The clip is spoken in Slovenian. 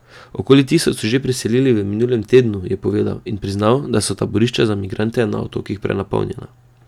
Okoli tisoč so jih že preselili v minulem tednu, je povedal in priznal, da so taborišča za migrante na otokih prenapolnjena.